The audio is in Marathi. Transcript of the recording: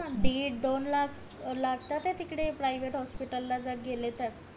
दीड दोन लाख लागतात ये तिकडे प्राव्हेट हॉस्पिटल ला जर गेलं तर